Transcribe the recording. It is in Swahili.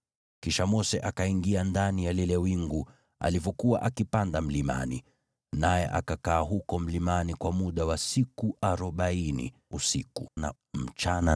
Kisha Mose akaingia ndani ya lile wingu alivyokuwa akipanda mlimani. Naye akakaa huko mlimani kwa muda wa siku arobaini, usiku na mchana.